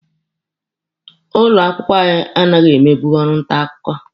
Ụlọ akwụkwọ anyị anaghị emebu ọrụ nta akwụkwọ.